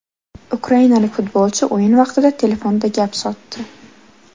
Ukrainalik futbolchi o‘yin vaqtida telefonda gap sotdi.